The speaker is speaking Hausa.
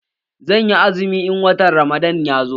Zanyi azumi in watan ramadan ya zo